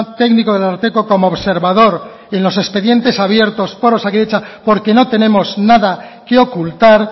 técnico del ararteko como observador en los expedientes abiertos por osakidetza porque no tenemos nada que ocultar